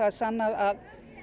sannað að